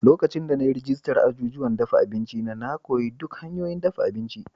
Lokacin da na yi rajistar azuzuwan dafa abinci na, na koyi duk hanyoyin dafa abinci.